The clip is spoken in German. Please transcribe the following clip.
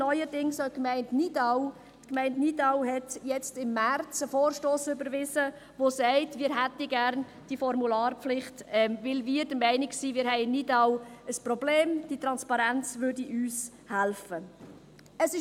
Neuerdings hat auch die Gemeinde Nidau im März einen Vorstoss überwiesen, welcher diese Formularpflicht einführen will, weil sie der Meinung ist, dass in Nidau ein Problem besteht und die Transparenz helfen würde.